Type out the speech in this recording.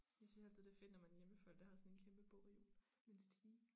Jeg synes altid det fedt når man er hjemme ved folk der har såan en kæmpe bogreol med en stige